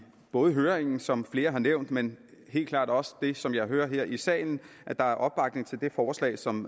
både i høringen som flere har nævnt men helt klart også som jeg hører det her i salen er opbakning til det forslag som